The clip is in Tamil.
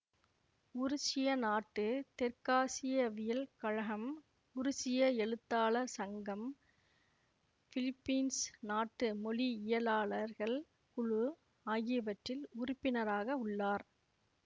உருசிய நாட்டு தெற்காசியவியல் கழகம் உருசிய எழுத்தாளர் சங்கம் பிலிப்பீன்சு நாட்டு மொழியிலாளர்கள் குழு ஆகியவற்றில் உறுப்பினராக உள்ளார்